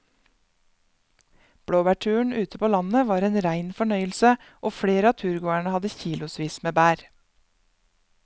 Blåbærturen ute på landet var en rein fornøyelse og flere av turgåerene hadde kilosvis med bær.